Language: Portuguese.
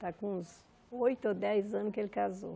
Está com uns oito ou dez anos que ele casou.